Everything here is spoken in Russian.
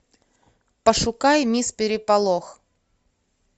пошукай мисс переполох